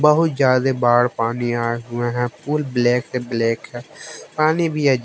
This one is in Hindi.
बहुत ज्यादा बाढ़ पानी आए हुए हैं फुल ब्लैक से ब्लैक है पानी भी--